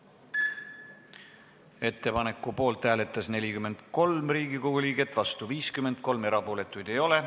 Hääletustulemused Ettepaneku poolt hääletas 43 Riigikogu liiget, vastu oli 53, erapooletuid ei ole.